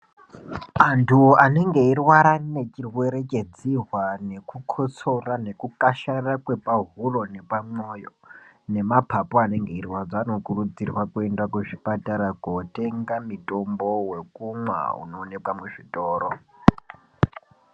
Antu anenge eyirwara nechirwere chedzihwa nekukosora nekukasharara kwepahuro nepamwoyo nemapapu anenge eirwadza anokurudzirwa kuende kuzvipatara kotenga mutombo wekumwa unowanikwe muzvitoro.